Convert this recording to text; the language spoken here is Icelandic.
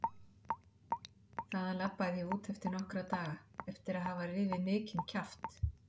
Þaðan labbaði ég út eftir nokkra daga eftir að hafa rifið mikinn kjaft.